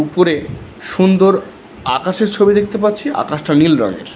উপরে সুন্দর আকাশের ছবি দেখতে পাচ্ছি আকাশটা নীল রঙের।